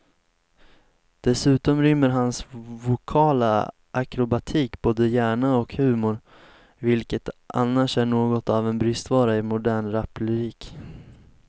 Dessutom rymmer hans vokala akrobatik både hjärna och humor, vilket annars är något av en bristvara i modern raplyrik.